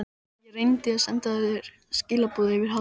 Ég reyndi að senda þér skilaboð yfir hafið.